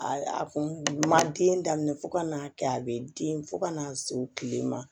A kun ma den daminɛ fo ka n'a kɛ a bɛ den fo ka na se u kile ma